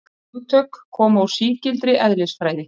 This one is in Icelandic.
Þau hugtök koma úr sígildri eðlisfræði.